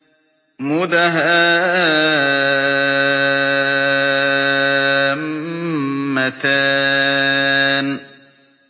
مُدْهَامَّتَانِ